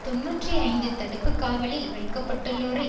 தொன்னூற்றி ஐந்து தடுப்புக்காவலில் வைக்கப்பட்டுள்ளோரை